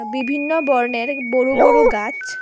বিভিন্ন বর্ণের বড় বড় গাছ।